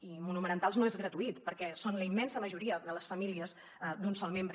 i monomarentals no és gratuït perquè són la immensa majoria de les famílies d’un sol membre